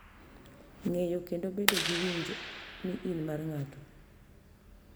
Ng’eyo, kendo bedo gi winjo ni in mar ng’ato.